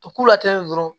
A k'u la ten dɔrɔn